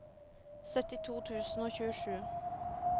syttito tusen og tjuesju